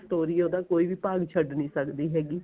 ਸਟੋਰੀਆਂ ਦਾ ਕੋਈ ਵੀ ਭਾਗ ਛੱਡ ਨੀ ਸਕਦੀ ਹੈਗੀ